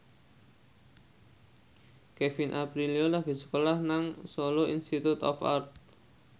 Kevin Aprilio lagi sekolah nang Solo Institute of Art